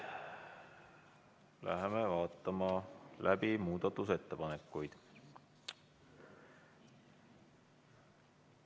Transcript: Hakkame läbi vaatama muudatusettepanekuid.